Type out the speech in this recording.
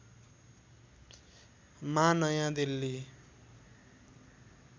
मा नयाँ दिल्ली